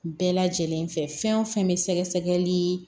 Bɛɛ lajɛlen fɛ fɛn o fɛn bɛ sɛgɛsɛgɛli